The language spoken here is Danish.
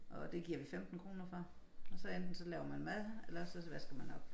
Og det giver vi 15 kroner for og så enten så laver man mad eller også så vasker man op